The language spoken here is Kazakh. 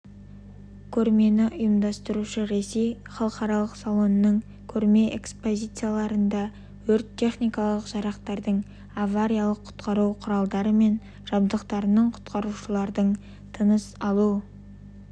көрмені ұйымдастырушы ресей халықаралық салонның көрме экспозицияларында өрт-техникалық жарақтардың авариялық-құтқару құралдары мен жабдықтарының құтқарушылардың тыныс алу